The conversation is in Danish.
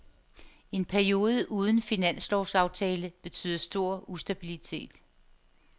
En periode uden finanslovsaftale betyder stor ustabilitet.